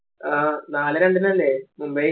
ആ നാലേ രണ്ടിനല്ലേ മുംബൈ